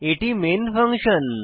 এটি main function